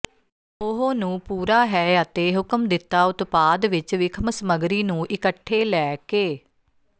ਉਹ ਨੂੰ ਪੂਰਾ ਹੈ ਅਤੇ ਹੁਕਮ ਦਿੱਤਾ ਉਤਪਾਦ ਵਿੱਚ ਵਿਖਮ ਸਮੱਗਰੀ ਨੂੰ ਇਕੱਠੇ ਲੈ ਕੇ